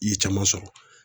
I ye caman sɔrɔ.